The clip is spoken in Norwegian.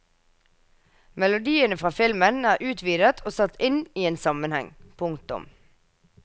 Melodiene fra filmen er utvidet og satt inn i en sammenheng. punktum